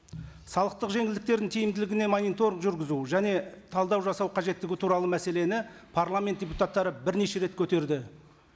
салықтық жеңілдіктердің тиімділігіне мониторинг жүргізу және талдау жасау қажеттігі туралы мәселені парламент депутаттары бірнеше рет көтерді